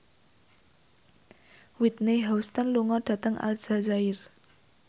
Whitney Houston lunga dhateng Aljazair